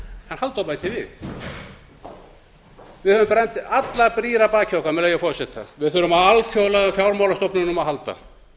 halldór bætir við með leyfi forseta við höfum brotið allar brýr að baki okkar við þurfum á alþjóðlegum fjármálastofnunum að halda